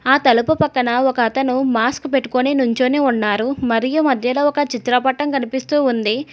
ఆ తలకు పక్కన ఒకతను మాస్క్ పెట్టుకొని నుంచోని ఉన్నారు మరియు మధ్యలో ఒక చిత్రపటం కనిపిస్తూ ఉంది.